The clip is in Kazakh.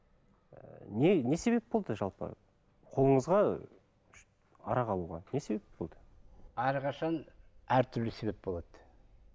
ы не себеп болды жалпы қолыңызға арақ алуға не себеп болды әрқашан әртүрлі себеп болады